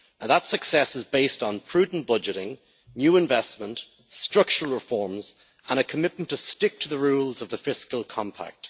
That success is based on prudent budgeting, new investment, structural reforms and a commitment to stick to the rules of the fiscal compact.